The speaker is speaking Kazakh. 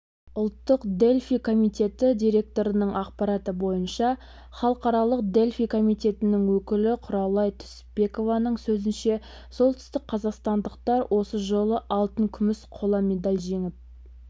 ұлттық дельфий комитеті директорының ақпараты бойынша халықаралық дельфий комитетінің өкілі құралай түсіпбекованың сөзінше солтүстікқазақстандықтар осы жолы алтын күміс қола медаль жеңіп